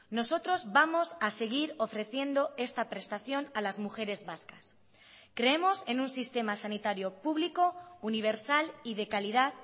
nosotros vamos a seguir ofreciendo esta prestación a las mujeres vascas creemos en un sistema sanitario público universal y de calidad